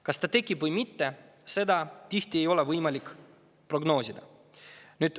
Kas see tekib või mitte, seda ei ole tihtipeale võimalik prognoosida.